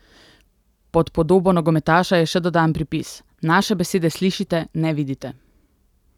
Pod podobo nogometaša je še dodan pripis: "Naše besede slišite, ne vidite.